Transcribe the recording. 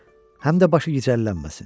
Həm də başı gicəllənməsin.